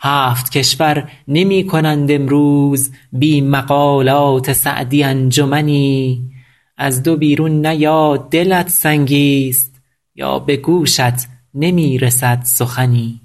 هفت کشور نمی کنند امروز بی مقالات سعدی انجمنی از دو بیرون نه یا دلت سنگیست یا به گوشت نمی رسد سخنی